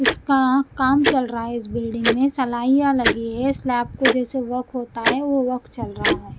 इसका काम चल रहा है इस बिल्डिंग मे सलाइयां लगी है स्लैब को जैसे वोक होता है वो वोक चल रहा है ।